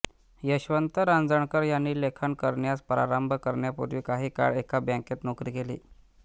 यशवंत रांजणकर यांनी लेखन करण्यास प्रारंभ करण्यापूर्वी काही काळ एका बँकेत नोकरी केली